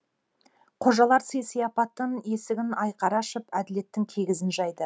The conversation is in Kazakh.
қожалар сый сияпаттың есігін айқара ашып әділеттің киізін жайды